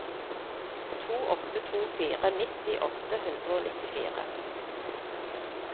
to åtte to fire nitti åtte hundre og nittifire